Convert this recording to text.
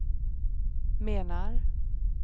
menar